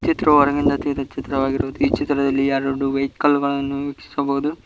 ಈ ಚಿತ್ರ ಹೊರಗಿಂದ ತೆಗೆದಿರುವ ಚಿತ್ರ ಈ ಚಿತ್ರದಲ್ಲಿ ಎರಡು ವೆಹಿಕಲ್ ಗಳನ್ನು ವೀಕ್ಷಿಸಬಹುದು.